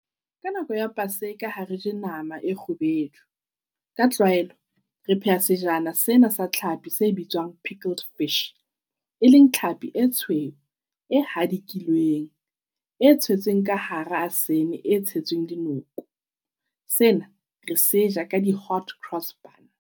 Ka nako ya paseka ha re je nama e kgubedu. Ka tlwaelo, re pheha sejana sena sa tlhapi se bitswang e leng tlhapi e tshweu e hadikilweng. E tshetsweng ka hara e tshetsweng dinoko. Sena re se ja ka di .